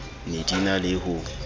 ne di na le ho